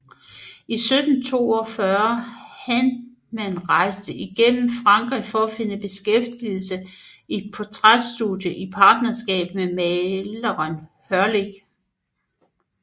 I 1742 Handmann rejste gennem Frankrig at finde beskæftigelse i et portræt studie i partnerskab med maleren Hörling